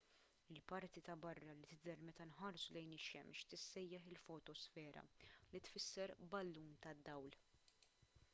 il-parti ta' barra li tidher meta nħarsu lejn ix-xemx tissejjaħ il-fotosfera li tfisser ballun tad-dawl